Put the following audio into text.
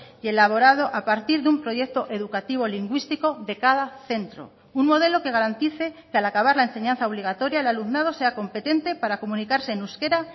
y elaborado a partir de un proyecto educativo lingüístico de cada centro un modelo que garantice que al acabar la enseñanza obligatoria el alumnado sea competente para comunicarse en euskera